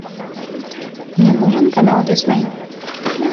мне нужен канал дисней